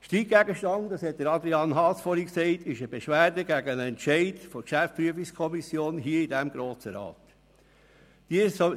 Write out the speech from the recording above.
Der Streitgegenstand – das hat Adrian Haas vorhin gesagt – ist eine Beschwerde gegen einen Entscheid der GPK des Grossen Rates.